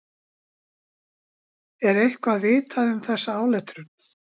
Er eitthvað vitað um þessa áletrun?